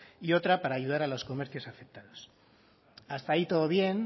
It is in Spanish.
y otra para ayudar a los comercios afectados hasta ahí todo bien